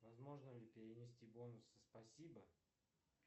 возможно ли перенести бонусы спасибо